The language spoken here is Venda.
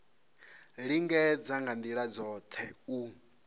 lingedza nga ndila dzothe u